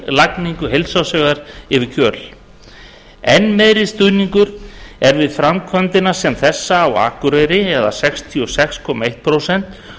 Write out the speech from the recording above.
lagningu heilsársvegar yfir kjöl enn meiri stuðningur er við framkvæmd sem þessa á akureyri sextíu og sex komma eitt prósent